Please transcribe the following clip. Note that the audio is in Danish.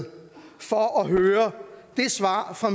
for at høre det svar fra